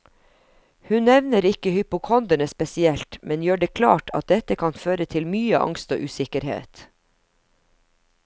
Hun nevner ikke hypokonderne spesielt, men gjør det klart at dette kan føre til mye angst og usikkerhet.